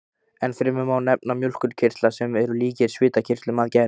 Ennfremur má nefna mjólkurkirtla, sem eru líkir svitakirtlum að gerð.